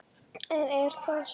En er það svo.